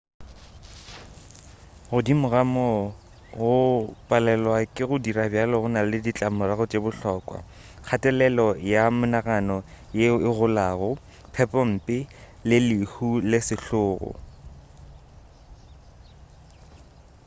godimo ga moo go palelwa ke go dira bjalo go na le ditlamorago tše bohlokwa kgatelelo ya monagano yeo e golago phepompe le lehu le sehlogo